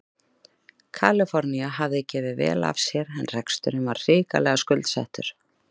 Kaliforníu hafði gefið vel af sér en reksturinn var hrikalega skuldsettur.